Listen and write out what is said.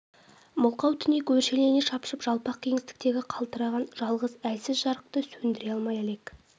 мылқау түнек өршелене шапшып жалпақ кеңістіктегі қалтыраған жалғыз әлсіз жарықты сөндіре алмай әлек